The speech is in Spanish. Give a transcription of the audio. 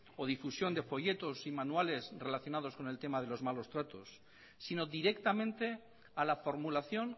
o difusión de folletos y manuales relacionados con el tema de los malos tratos sino directamente a la formulación